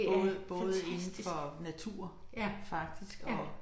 Både både indenfor natur faktisk og